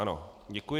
Ano, děkuji.